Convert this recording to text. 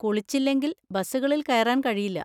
കുളിച്ചില്ലെങ്കിൽ ബസുകളിൽ കയറാൻ കഴിയില്ല.